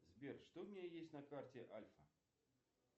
сбер что у меня есть на карте альфа